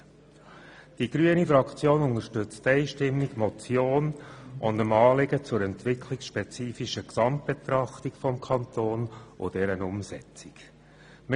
im Zusammenhang mit der Die grüne Fraktion unterstützt die Motion und das Anliegen zur entwicklungsspezifischen Gesamtbetrachtung des Kantons sowie deren Umsetzung einstimmig.